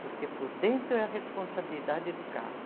Porque por dentro é a responsabilidade do carro.